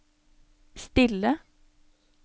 stille